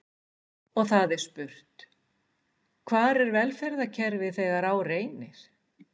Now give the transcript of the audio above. Og það er spurt: Hvar er velferðarkerfið þegar á reynir?